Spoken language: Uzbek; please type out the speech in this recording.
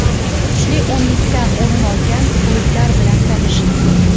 Kuchli o‘nlikdan o‘rin olgan klublar bilan tanishing: !